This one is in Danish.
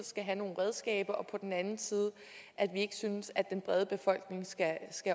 skal have nogle redskaber og på den anden side at vi ikke synes at den brede befolkning skal